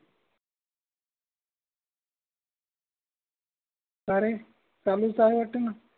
कारे चालूच आहे वाटेणा